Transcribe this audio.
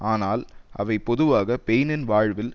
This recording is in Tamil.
ஆனால் அவை பொதுவாக பெயினின் வாழ்வில்